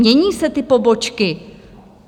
Mění se ty pobočky.